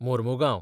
Mormugao